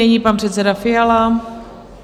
Nyní pan předseda Fiala.